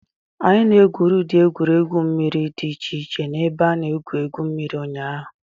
Anyị gwuru ụdị egwuregwu mmiri dị iche iche na ebe a na-egwu egwu mmiri ụnyaahụ.